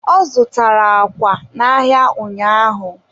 ọ zụtara àkwà n'ahịa ụnyaahụ.